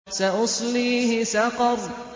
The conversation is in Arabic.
سَأُصْلِيهِ سَقَرَ